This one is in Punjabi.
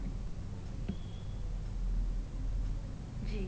ਜੀ